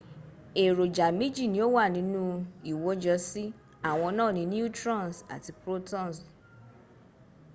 èròjà méjì ní ó wà ninú ìwọ́jọsí àwọn náà ni neutrons àti protons